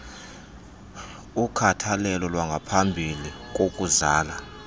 ukhathalelo lwaphambi kokuzala